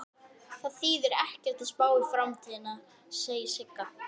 Oddfríður, stilltu tímamælinn á fimmtíu og átta mínútur.